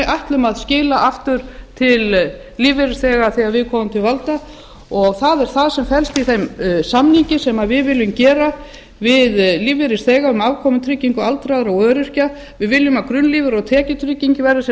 ætlum að skila aftur til lífeyrisþega þegar við komumst til valda og það er það sem felst í þeim samningi sem við viljum gera við lífeyrisþega um afkomutryggingu aldraðra og öryrkja við viljum að grunnlífeyrir og tekjutrygging verði sem